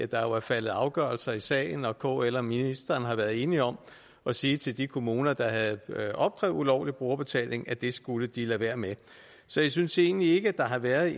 der jo er faldet afgørelser i sagen og kl og ministeren har været enige om at sige til de kommuner der havde opkrævet ulovlig brugerbetaling at det skulle de lade være med så jeg synes egentlig ikke at der har været